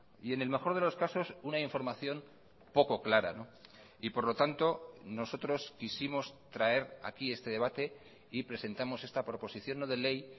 y en el mejor de los casos una información poco clara y por lo tanto nosotros quisimos traer aquí este debate y presentamos esta proposición no de ley